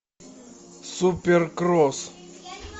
суперкросс